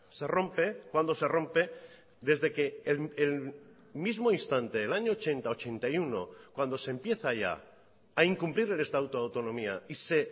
se rompe cuándo se rompe desde que el mismo instante el año ochenta ochenta y uno cuando se empieza ya a incumplir el estatuto de autonomía y se